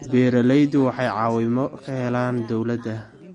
Beeralayda waxay caawimo ka helaan dawladda.